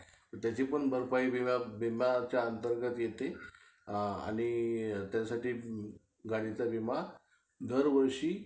कारण जर काय आपले secret राहिले. आपण बोलण्याचा विचार केला तर आपुन बोलू नाही शकत ना.